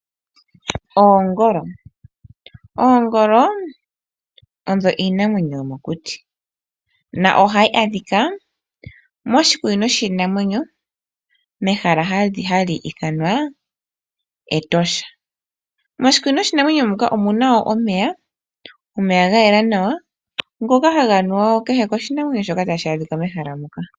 Oongolo, Oongolo odho iinamwenyo yomokuti na ohayi adhika moshikunino shiinamwenyo mehala hali ithanwa Etosha. Moshikunino shiinamwenyo muka omuna wo omeya, omeya ga yela nawa ngoka haga nuwa kehe koshinamwenyo shoka tashi adhika mehala moka.